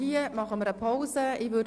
Hier machen wir eine Pause.